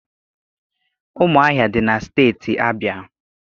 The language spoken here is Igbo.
Ụmụahịa dị na Steeti Abịa.